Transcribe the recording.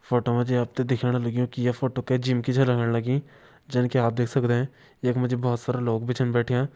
फोटो मा जी आप त दिखेण लग्युं की ये फोटो कै जिम की छ लगण लगीं जन की आप देख सकदें यख मा जी बहोत सारा लोग भी छन बैठ्यां।